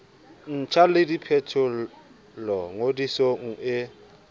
ntjha le diphetolo ngodisong e